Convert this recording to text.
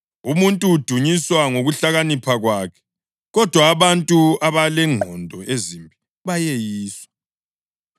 Umuntu udunyiswa ngokuhlakanipha kwakhe, kodwa abantu abalengqondo ezimbi bayeyiswa.